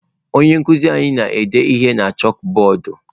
Onye nkuzi anyị na-ede ihe na chakụbọọdụ.